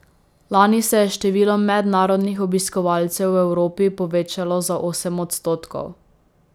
Lani se je število mednarodnih obiskovalcev v Evropi povečalo za osem odstotkov.